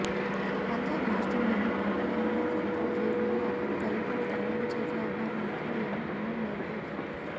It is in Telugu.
పంజాబ్ రాష్ట్రంలోని పాటియాలా సెంట్రల్ జైలులో అక్కడి ఖైదీలు తయారు చేసే ఆహారానికి యమ డిమాండ్ ఏర్పడుతోంది